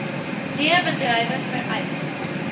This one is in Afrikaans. d bedrywe vereis